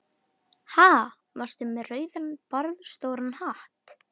Ha, varstu með rauðan barðastóran hatt?